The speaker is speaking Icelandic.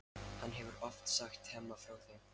Hann hefur oft sagt Hemma frá þeim.